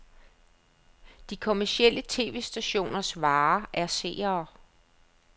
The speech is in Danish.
De kommercielle tv-stationers vare er seere.